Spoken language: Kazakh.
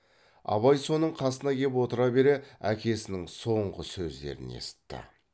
абай соның қасына кеп отыра бере әкесінің соңғы сөздерін есітті